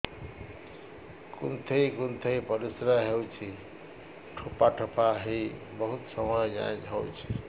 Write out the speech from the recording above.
କୁନ୍ଥେଇ କୁନ୍ଥେଇ ପରିଶ୍ରା ହଉଛି ଠୋପା ଠୋପା ହେଇ ବହୁତ ସମୟ ଯାଏ ହଉଛି